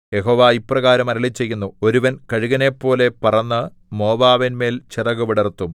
യഹോവ ഇപ്രകാരം അരുളിച്ചെയ്യുന്നു ഒരുവൻ കഴുകനെപ്പോലെ പറന്ന് മോവാബിന്മേൽ ചിറകു വിടർത്തും